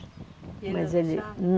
E ele não deixava? Mas ele,